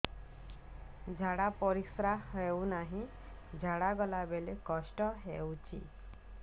ଝାଡା ପରିସ୍କାର ହେଉନି ଝାଡ଼ା ଗଲା ବେଳେ କଷ୍ଟ ହେଉଚି